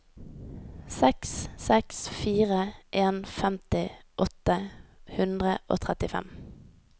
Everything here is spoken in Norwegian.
seks seks fire en femti åtte hundre og trettifem